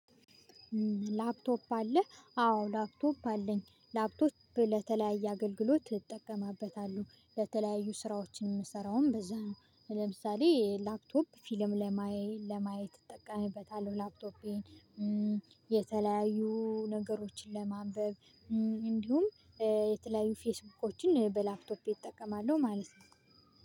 ላፕቶፕ አለ አዎ ላፕቶፕ አለኝ ላፕቶፕ ለተለያየ አገልግሎት ይጠቀማበታሉ ለተለያዩ ስራዎችን የምሰራውም በዛ ነው። ለምሳሌ ላፕቶፕ ፊልም ለማየት እጠቀምበታለሁ ላፕቶፔን። የተለያዩ ነገሮችን ለማንበብ እንዲሁም የተለያዩ ፌስቡኮችን በላፕቶፕ እጠቀማለሁ ማለት ነው።